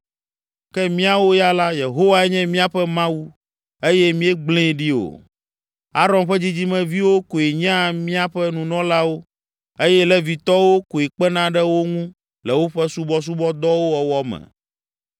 Ke míawo ya la, Yehowae nye míaƒe Mawu eye míegblee ɖi o. Aron ƒe dzidzimeviwo koe nyea míaƒe nunɔlawo eye Levitɔwo koe kpena ɖe wo ŋu le woƒe subɔsubɔdɔwo wɔwɔ me.